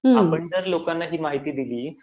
आपण जर लोकांना ही माहिती दिली